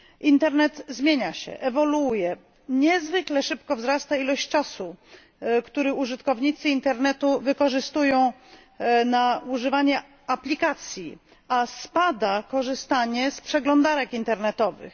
Internet zmienia się, ewoluuje, niezwykle szybko wzrasta ilość czasu, który użytkownicy internetu poświęcają na używanie aplikacji, a spada korzystanie z przeglądarek internetowych.